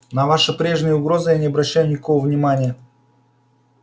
на ваши прежние угрозы я не обращаю никакого внимания